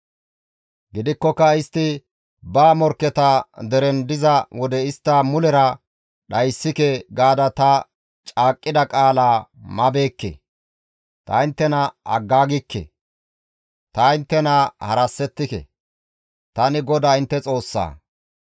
Gidikkoka istti ba morkketa deren diza wode istta mulera dhayssike gaada ta caaqqida qaalaa mabeekke; ta inttena aggaagikke; ta inttena harassetike; tani GODAA intte Xoossaa.